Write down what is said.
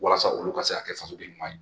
Walasa olu ka se ka kɛ fasoden ɲuman ye